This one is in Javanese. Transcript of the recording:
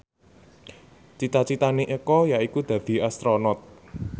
cita citane Eko yaiku dadi Astronot